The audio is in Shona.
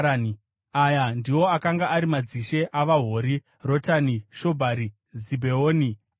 Aya ndiwo akanga ari madzishe avaHori: Rotani, Shobhari, Zibheoni, Ana,